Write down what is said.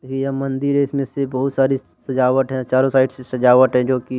यह मंदिर है इसमें से बहुत सारी सजावट है चारों साइड से सजावट है जोकि --